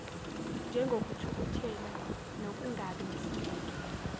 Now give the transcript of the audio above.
njengokuthukuthela nokungabi nesineke